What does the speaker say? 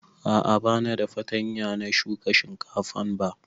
A'a ba da fartanya na shuka shinkafan ba